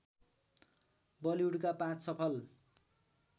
बलिउडका पाँच सफल